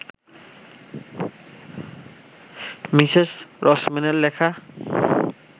Mrs রসম্যানের লেখা